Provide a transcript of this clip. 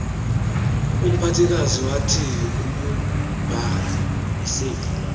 umphathikazi wathi ukubaasive